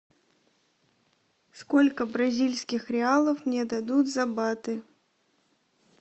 сколько бразильских реалов мне дадут за баты